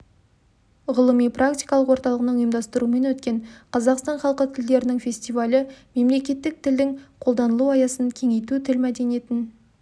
ғылыми-практикалық орталығының ұйымдастыруымен өткен қазақстан халқы тілдерінің фестивалі мемлекеттік тілдің қолданылу аясын кеңейту тіл мәдениетін